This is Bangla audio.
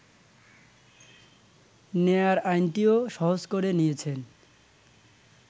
নেয়ার আইনটিও সহজ করে নিয়েছেন